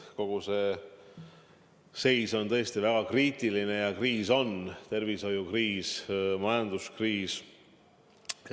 Kogu see seis on tõesti väga kriitiline ja meil on tervishoiukriis ja majanduskriis.